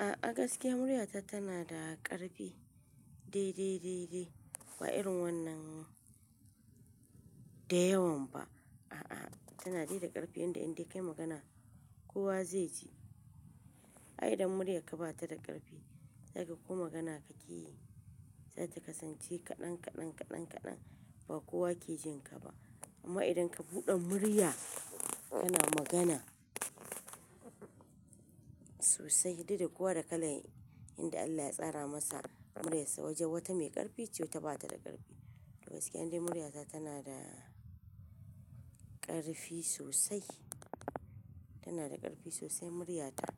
A'a gaskiya muryata tana da ƙarfi. Dai, dai, dai, dai ba irin wannan da yawan ba. A'a, tana dai da ƙarfi yanda in dai kayi magana kowa zai ji. Ai idan murya ka bata da ƙarfi, zaka koyi magana ka yi, zata kasance kaɗan, kaɗan, kaɗan, kaɗan ba kowa ke jin ka ba. Amma idan ka buɗe murya, kana magana sosai, duk da kowa da kalan yanda Allah ya tsara masa muryarsa. Wajen wata mai ƙarfi ce, wata bata da ƙarfi. Gaskiya indai muryata tana da ƙarfi sosai, tana da ƙarfi sosai muryata.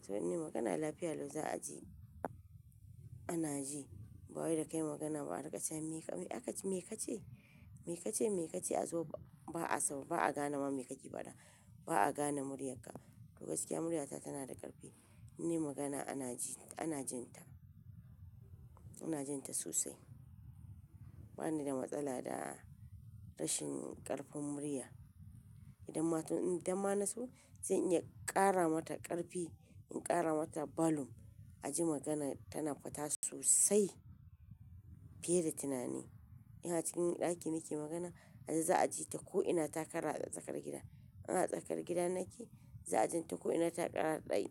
Saboda in yi magana lafiya lai za a ji, ana ji. Ba wai da kayi magana ba a rikice "Me ka ce? Me ka ce? Me ka ce?" a zo, ba'a saba, ba'a gane ma me ka ke fada. Ba'a gane muryarka. Gaskiya muryata tana da ƙarfi. In nayi magana ana ji, ana jin ta. Ana jin ta sosai. Bani da matsala da rashin ƙarfin murya. Idan ma, idan ma na so zan iya ƙara mata ƙarfi. In ƙara mata balum, a ji magana tana fita sosai fiye da tunani. Ina cikin ɗaki nake magana, a can za a ji ta ko'ina ta kara tsakar gida. Ina tsakar gida nake, za a jin ta ko'ina ta ƙara dai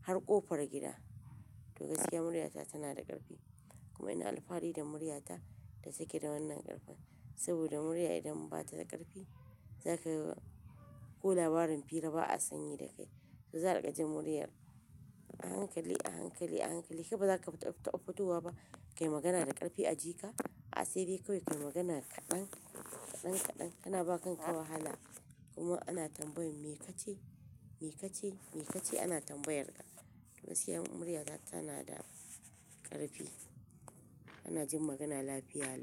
har ƙofar gida. To gaskiya muryata tana da ƙarfi. Kuma ina alfahari da muryata ta sake da wannan ƙarfin. Saboda murya idan bata da ƙarfi, zaka ko labarin fira ba'a sanyi da kai. To za a riƙa jin muryar a hankali, a hankali, a hankali. Kai ba zaka taɓa fitowa ba. Kayi magana da ƙarfi a ji ka, a asiri kawai ka yi magana kaɗan, kaɗan, kaɗan kana ba kanka wahala. Kuma ana tambayan "Me ka ce? Me ka ce? Me ka ce?" ana tambayar ka. Duk aske muryata tana da ƙarfi. Ana jin magana lafiya.